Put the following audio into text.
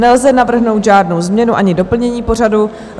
Nelze navrhnout žádnou změnu ani doplnění pořadu.